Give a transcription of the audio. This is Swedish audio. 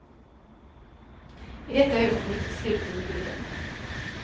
I detta ögonblick sluter vi leden.